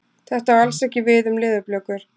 Þetta á alls ekki við um leðurblökur.